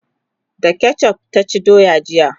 da ketchuf ta ci doya jiya